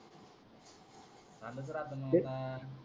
आलं तर